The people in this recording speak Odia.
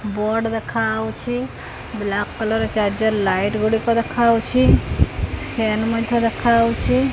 ବୋର୍ଡ଼ ଦେଖାହଉଛି ବ୍ଲାକ୍ କଲର୍ ଚାର୍ଜର ଲାଇଟ୍ ଗୁଡ଼ିକ ଦେଖାହଉଛି ଫ୍ଯାନ୍ ମଧ୍ୟ ଦେଖାହଉଛି।